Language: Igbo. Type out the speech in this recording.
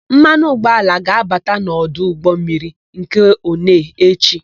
Mmanụ ụgbọala ga-abata n'ọdụ ụgbọmmiri nke Onee echi.